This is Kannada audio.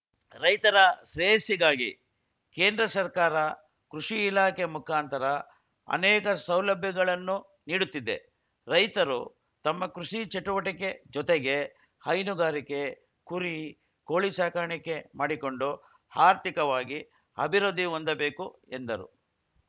ರೈತರ ಶ್ರೇಯಸ್ಸಿಗಾಗಿ ಕೇಂದ್ರ ಸರ್ಕಾರ ಕೃಷಿ ಇಲಾಖೆ ಮುಖಾಂತರ ಅನೇಕ ಸೌಲಭ್ಯಗಳನ್ನು ನೀಡುತ್ತಿದೆ ರೈತರು ತಮ್ಮ ಕೃಷಿ ಚಟುವಟಿಕೆ ಜೊತೆಗೆ ಹೈನುಗಾರಿಕೆ ಕುರಿ ಕೋಳಿ ಸಾಕಾಣಿಕೆ ಮಾಡಿಕೊಂಡು ಅರ್ಥಿಕವಾಗಿ ಅಭಿವೃದ್ಧಿ ಹೊಂದಬೇಕು ಎಂದರು